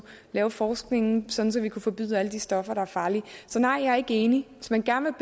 lave forskningen sådan at vi kunne forbyde alle de stoffer der er farlige så nej jeg er ikke enig hvis man gerne